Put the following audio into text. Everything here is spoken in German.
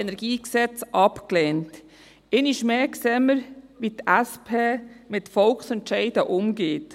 Einmal mehr sehen wir, wie die SP mit Volksentscheiden umgeht.